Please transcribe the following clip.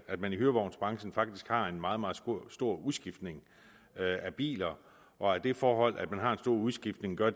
at man i hyrevognsbranchen faktisk har en meget meget stor udskiftning af biler og at det forhold at man har en stor udskiftning gør